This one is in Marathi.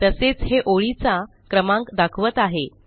तसेच हे ओळीचा क्रमांक दाखवत आहे